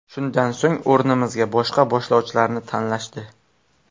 Shundan so‘ng, o‘rnimizga boshqa boshlovchilarni tanlashdi.